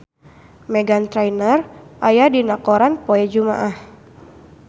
Meghan Trainor aya dina koran poe Jumaah